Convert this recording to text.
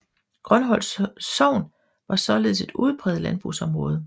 Grønholt sogn var således et udpræget landbrugsområde